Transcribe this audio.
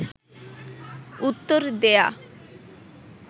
উত্তর দেয়া